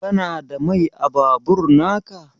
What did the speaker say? Kana da Mai a babur naka?